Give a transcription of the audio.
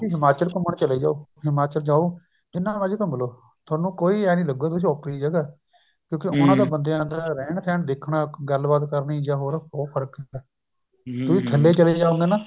ਹਿਮਾਚਲ ਘੁੰਮਣ ਚਲੇ ਜਾਓ ਹਿਮਾਚਲ ਜਾਓ ਜਿੰਨਾ ਮਰਜ਼ੀ ਘੁੰਮਲੋ ਥੋਨੂੰ ਕੋਈ ਇਹ ਨੀ ਲੱਗੂਗਾ ਤੁਸੀਂ ਓਪਰੀ ਜਗ੍ਹਾ ਕਿਉਂਕਿ ਉਹਨਾ ਬੰਦਿਆਂ ਦਾ ਰਹਿਣ ਸਹਿਣ ਦੇਖਣਾ ਗੱਲਬਾਤ ਕਰਨੀ ਜਾਂ ਹੋਰ ਬਹੁਤ ਫਰਕ ਹੁੰਦਾ ਤੁਸੀਂ ਥੱਲੇ ਚਲੇ ਜਾਓਂਗੇ ਨਾ